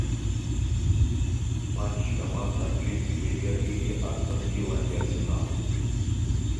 матч команд английской премьер лиги астон вилла и арсенал